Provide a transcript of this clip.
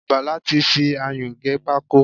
Bàlá ti fi ayún gé pákó.